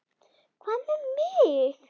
Hvað með mig?